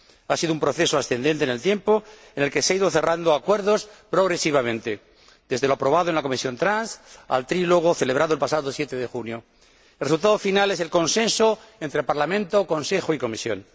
Ha sido un proceso ascendente en el tiempo, en el que se han ido cerrando acuerdos progresivamente, desde lo aprobado en la Comisión de Transportes al trílogo celebrado el pasado 7 de junio. El resultado final es el consenso entre Parlamento, Consejo y Comisión.